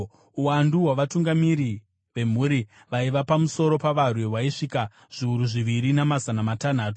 Uwandu hwavatungamiri vemhuri vaiva pamusoro pavarwi hwaisvika zviuru zviviri namazana matanhatu.